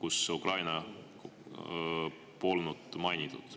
kus Ukraina polnud mainitud.